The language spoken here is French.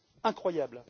Incroyable!